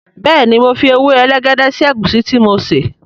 béèni mọ fí ewe elegede sí egusi tí mo ṣe.